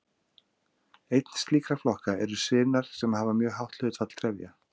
Einn slíkra flokka eru sinar sem hafa mjög hátt hlutfall trefja.